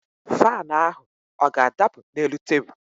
Faanụ ahụ ọ ga-adapụ n'elu tebul?